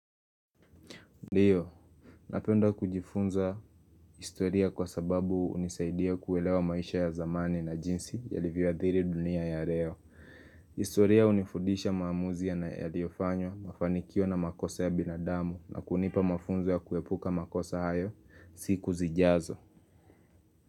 Ndiyo, napenda kujifunza historia kwa sababu unisaidia kuelewa maisha ya zamani na jinsi ya livyoa dhiri dunia ya leo. Historia hunifundisha maamuzi ya na yaliofanywa mafanikio na makosa ya binadamu na kunipa mafunzo ya kuepuka makosa hayo si kuzijazo.